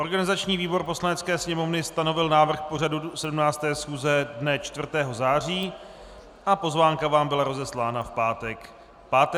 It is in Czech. Organizační výbor Poslanecké sněmovny stanovil návrh pořadu 17. schůze dne 4. září a pozvánka vám byla rozeslána v pátek 5. září.